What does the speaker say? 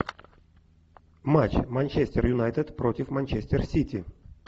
матч манчестер юнайтед против манчестер сити